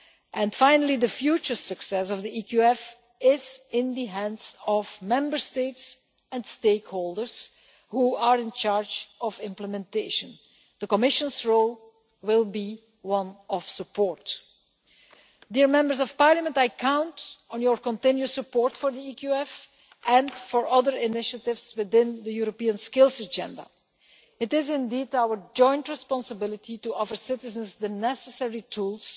And finally, the future success of the EQF is in the hands of Member States and stakeholders, who are in charge of implementation. The Commission's role will be one of support. I count on your continued support for the EQF and for other initiatives within the European skills agenda. It is our joint responsibility to offer citizens the necessary tools